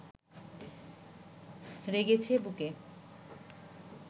রেগেছে বুকে